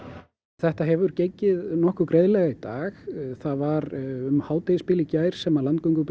þetta hefur gengið nokkuð greiðlega í dag það var um hádegisbilið í gær sem